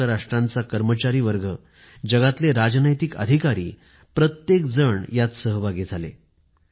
संयुक्त राष्ट्राचे कर्मचारी जगातील प्रथित यश राजतज्ञ या मध्ये समाविष्ट झाले होते